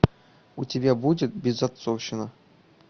у тебя будет безотцовщина